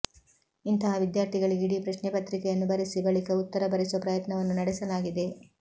ಇಂತಹ ವಿದ್ಯಾರ್ಥಿಗಳಿಗೆ ಇಡೀ ಪ್ರಶ್ನೆ ಪತ್ರಿಕೆಯನ್ನು ಬರೆಸಿ ಬಳಿಕ ಉತ್ತರ ಬರೆಸುವ ಪ್ರಯತ್ನವನ್ನೂ ನಡೆಸಲಾ ಗಿದೆ